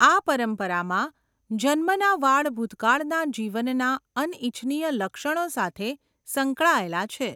આ પરંપરામાં, જન્મના વાળ ભૂતકાળના જીવનના અનિચ્છનીય લક્ષણો સાથે સંકળાયેલા છે.